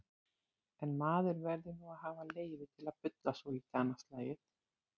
En maður verður nú að hafa leyfi til að bulla svolítið annað slagið.